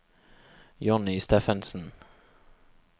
Johnny Steffensen